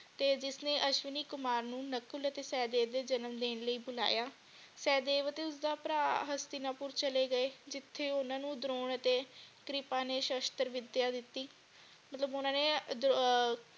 ਤੇ ਜਿਸਨੇ ਅਸ਼ਵਨੀ ਕੁਮਾਰ ਨੂੰ ਨਕੁਲ ਅਤੇ ਸੇਹਦੇਵ ਦੇ ਜਨਮ ਦੇਣ ਲਈ ਬੁਲਾਇਆ ਗਿਆ ਸੇਹਦੇਵ ਅਤੇ ਉਸਦਾ ਭਰਾ ਹਾਸਤਿਨਪੁਰ ਚਲੇ ਗਏ ਜਿਥੇ ਓਨਾ ਨੂੰ ਦ੍ਰੋਣ ਅਤੇ ਤ੍ਰਿਪ ਨੇ ਸ਼ਸ਼ਤਰ ਵਿਦਿਆ ਦਿਤੀ ਮਤਲਬ ਓਹਨਾ ਨੇ ਅਹ